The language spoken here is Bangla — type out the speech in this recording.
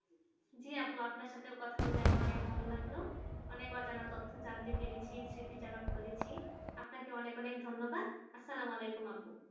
জি আপু আপনার সাথে কথা বলে আমার অনেক ভালো লাগলো অনেক অজানা তথ্য জানতে পেরেছি স্মৃতিচারণ করেছি আপনাকে অনেক অনেক ধন্যবাদ আর সালাওয়ালেকুম আপু